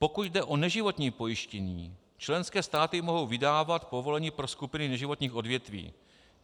Pokud jde o neživotní pojištění, členské státy mohou vydávat povolení pro skupiny neživotních odvětví.